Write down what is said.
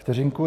Vteřinku.